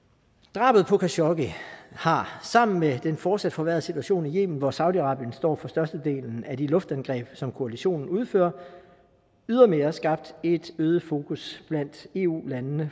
drabet på khashoggi har sammen med den fortsat forværrede situation i yemen hvor saudi arabien står for størstedelen af de luftangreb som koalitionen udfører ydermere skabt et øget fokus blandt eu landene